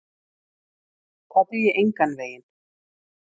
Það dugi engan veginn.